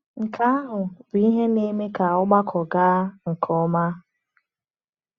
Nke ahụ bụ ihe na-eme ka ọgbakọ gaa nke ọma.